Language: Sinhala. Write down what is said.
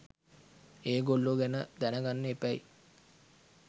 ඒගොල්ලෝ ගැන දැනගන්න එපැයි.